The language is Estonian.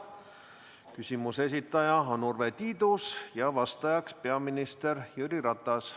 Küsimuse esitaja on Urve Tiidus ja vastaja peaminister Jüri Ratas.